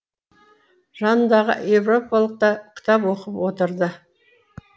жанындағы европалық та кітап оқып отырды